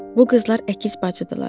Bu qızlar əkiz bacıdırlar.